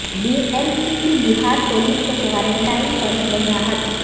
be M C کی Bihar police کے quarantine پر وضاحت